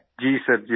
मंजूर जी जी सर